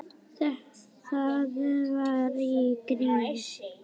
Það var í gríni.